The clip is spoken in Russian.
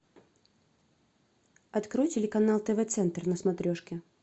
открой телеканал тв центр на смотрешке